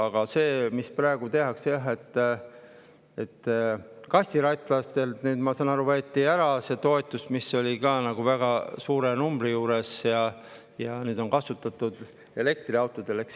Aga see, mis praegu tehakse: jah, ma saan aru, et võeti ära kastiratta toetus, mis oli ka väga suur, ja nüüd on see kasutatud elektriautode puhul.